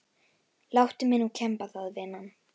Láttu mig nú kemba það vinan.